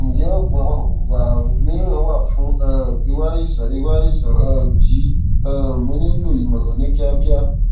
ǹjẹ oògùn apakòkòrò àrùn mìíràn wà fún um irú àìsàn irú àìsàn um yìí um mo nílò ìmọràn ní kíákíá